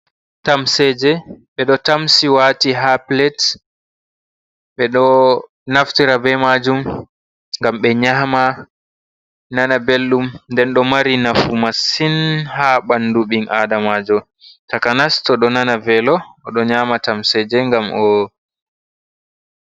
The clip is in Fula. Tamseje, ɓeɗo tamsi wati ha pilet, ɓeɗo naftira be majum ngam ɓe nyama, nana belɗum, nden do mari nafu masin ha ɓandu ɓi adamajo, takanas toɗo nana velo oɗo nyama tamseje ngam o.